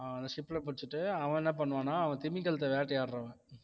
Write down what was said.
அவனை ship ல புடிச்சிட்டு அவன் என்ன பண்ணுவான்னா அவன் திமிங்கலத்தை வேட்டையாடுறவன்